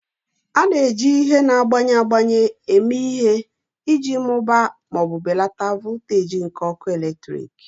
A na-eji ihe na-agbanwe agbanwe eme ihe iji mụbaa ma ọ bụ belata voltaji nke ọkụ eletrik